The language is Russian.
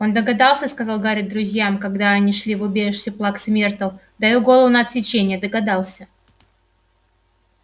он догадался сказал гарри друзьям когда они шли в убежище плаксы миртл даю голову на отсечение догадался